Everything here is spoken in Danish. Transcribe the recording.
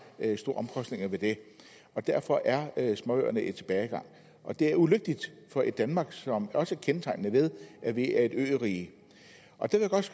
store omkostninger ved det derfor er småøerne i tilbagegang det er ulykkeligt for et danmark som også er kendetegnet ved at vi er et ørige